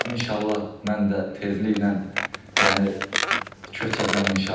İnşallah mən də tezliklə yəni köçəcəm, inşallah.